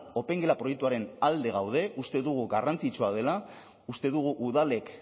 opengela proiektuaren alde gaude uste dugu garrantzitsua dela uste dugu udalek